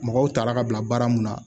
Mɔgɔw taara ka bila baara mun na